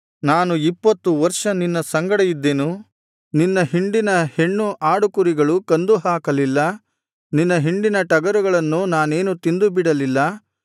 ನಾನು ಇಪ್ಪತ್ತು ವರ್ಷ ನಿನ್ನ ಸಂಗಡ ಇದ್ದೆನು ನಿನ್ನ ಹಿಂಡಿನ ಹೆಣ್ಣು ಆಡುಕುರಿಗಳನ್ನು ಕಂದು ಹಾಕಲಿಲ್ಲ ನಿನ್ನ ಹಿಂಡಿನ ಟಗರುಗಳನ್ನು ನಾನೇನೂ ತಿಂದುಬಿಡಲಿಲ್ಲ